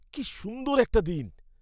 কী সুন্দর একটা দিন!